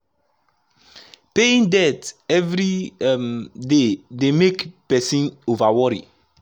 paying debt every um day dey make person over worry